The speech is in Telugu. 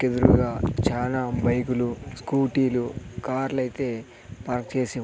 ఎదురుగా చానా బైకులు స్కూటీలు కార్లయితే పార్క్ చేసి ఉం--